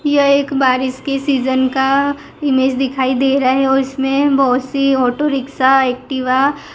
यह एक बारिश के सीजन का इमेज दिखाई दे रहा है और इसमें बहोत सी ऑटो रिक्शा एक्टिवा --